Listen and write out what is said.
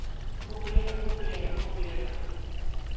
populære populære populære